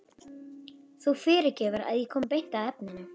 Þú fyrirgefur að ég komi beint að efninu.